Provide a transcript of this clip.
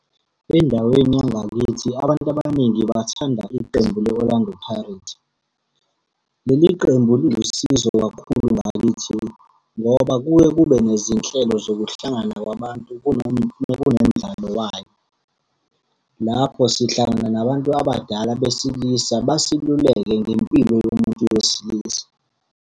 Endaweni yangakithi abantu abaningi bathanda iqembu le-Orlando Pirates. Leli qembu lilusizo kakhulu ngakithi, ngoba kuye kube nezinhlelo zokuhlangana kwabantu uma kunomdlalo wayo. Lapho sihlangana nabantu abadala besilisa basiluleke ngempilo yomuntu wesilisa.